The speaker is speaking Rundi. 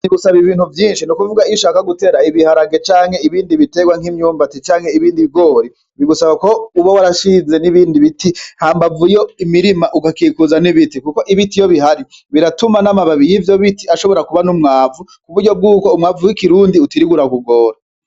Bigusaba Ibintu Vyinshi, Ni Kuvuga Iyo Ushaka Gutera Ibiharage Canke Ibindi Biterwa Nk'Imyumbati, Canke Ibindi Bigori, Bigusaba Ko Uba Warashinze N'Ibindi Biti Hambavu Yo Imirima Ugakikuza N'Ibiti. Kuko Ibiti Iyo Bidahari Biratuma N'Amababi Y'Ivyo Biti Ashobora Kuba N'Umwavu, Kuburyo Bwuko Umwavu W'Ikirundi Utirirwa Urakugora.